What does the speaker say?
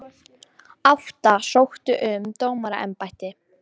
Átta sóttu um dómaraembætti